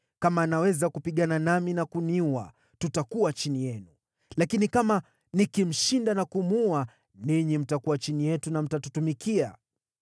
Kama anaweza kupigana nami na kuniua, tutakuwa chini yenu; lakini kama nikimshinda na kumuua, ninyi mtakuwa chini yetu na mtatutumikia.”